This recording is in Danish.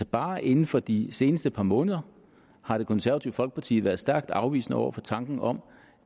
bare inden for de seneste par måneder har det konservative folkeparti været stærkt afvisende over for tanken om